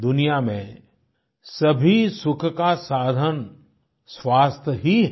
दुनिया में सभी सुख का साधन स्वास्थ्य ही है